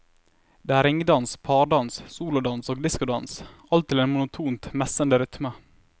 Det er ringdans, pardans, solodans og discodans, alt til en monotont messende rytme.